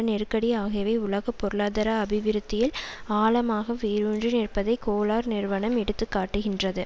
நெருக்கடி ஆகியவை உலக பொருளாதார அபிவிருத்தியில் ஆழமாக வேரூன்றி நிற்பதை கோலார் நியமனம் எடுத்து காட்டுகின்றது